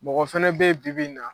Mɔgɔ fana bɛ yen bibi in na